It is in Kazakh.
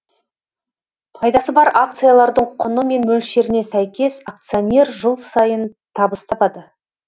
пайдасы бар акциялардың құны мен мөлшеріне сәйкес акционер жыл сайын табыс табады